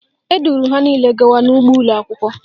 Eduru ha niile gawa n'ugbo ụlọakwụkwọ